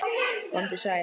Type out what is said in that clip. Komdu sæl.